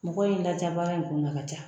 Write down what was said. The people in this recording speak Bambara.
Mɔgɔ in la diya baga in b'u la, a ka ca.